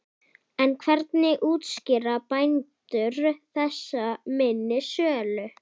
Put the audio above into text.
En hvernig útskýra bændur þessa minni sölu?